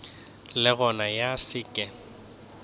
le gona ya se ke